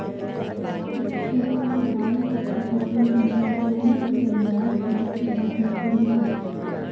इस शो के हाल के एपिसोड में दोनों की दमदार केमेस्ट्री देखने को मिली